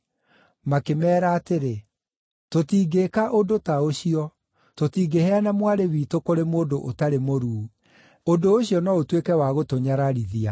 Makĩmeera atĩrĩ, “Tũtingĩĩka ũndũ ta ũcio; tũtingĩheana mwarĩ witũ kũrĩ mũndũ ũtarĩ mũruu. Ũndũ ũcio no ũtuĩke wa gũtũnyararithia.